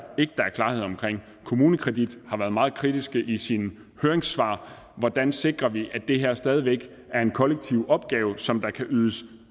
klarhed omkring kommunekredit har været meget kritisk i sit høringssvar hvordan sikrer vi at det her stadig væk er en kollektiv opgave som der kan ydes